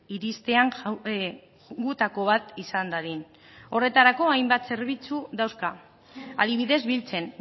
iristean gutako bat izan dadin horretarako hainbat zerbitzu dauzka adibidez biltzen